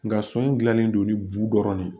Nga so in gilanlen don ni bu dɔrɔn de ye